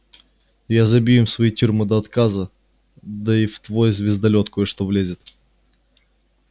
я забью им свои тюрьмы до отказа да и в твой звездолёт кое-что влезет